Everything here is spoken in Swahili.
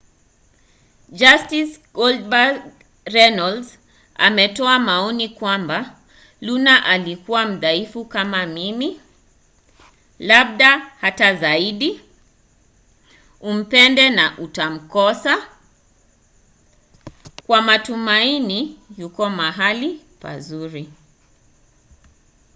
justin goldust” runnels ametoa maoni kwamba luna alikuwa mdhaifu kama mimi labda hata zaidi umpende na utamkosa kwa matumaini yupo mahali pazuri.